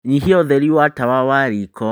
nyiha ũtheri wa tawa wa riiko